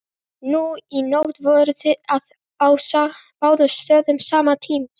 Nú í nótt voruð þið að á báðum stöðum samtímis.